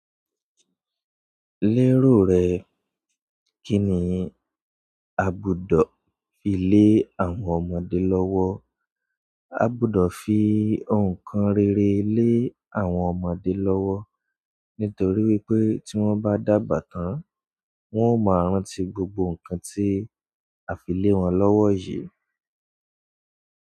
Lérò rẹ, kí ni a gbọdọ̀ fi lé àwọn ọmọdé lọ́wọ́? A gbọdọ̀ fi nǹkan rere lé àwọn ọmọdé lọ́wọ́ nítorí wípé tí wọ́n bá dàgbà tán, wọ́n ó máa rántí gbogbo nǹkan tí a fi lé wọn lọ́wọ́ yìí.